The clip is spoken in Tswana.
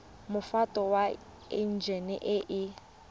mofuta wa enjine e e